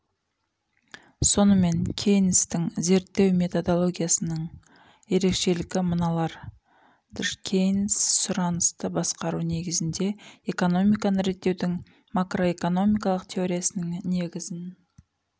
сонымен кейнстің зерттеу методологиясының ерекшеліктері мыналар дж кейнс сұранысты басқару негізінде экономиканы реттеудің макроэкономикалық теориясының негізін